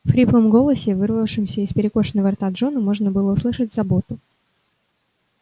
в хриплом голосе вырывавшемся из перекошенного рта джона можно было услышать заботу